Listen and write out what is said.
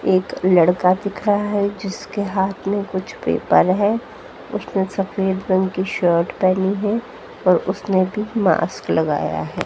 एक लड़का दिख रहा है जिसके हाथ में कुछ पेपर है उसने सफेद रंग की शर्ट पहनी है और उसने भी मास्क लगाया है।